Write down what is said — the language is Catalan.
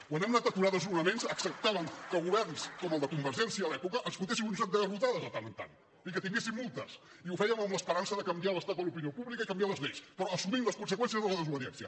quan hem anat a aturar desnonaments acceptàvem que governs com el de convergència a l’època ens fotéssiu un joc de garrotades de tant en tant i que tinguéssim multes i ho fèiem amb l’esperança de canviar l’estat de l’opinió pública i canviar les lleis però assumint les conseqüències de la desobediència